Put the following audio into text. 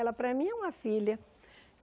Ela, para mim, é uma filha.